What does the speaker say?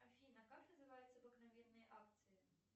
афина как называются обыкновенные акции